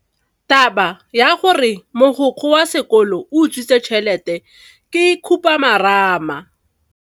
Taba ya gore mogokgo wa sekolo o utswitse tšhelete ke khupamarama.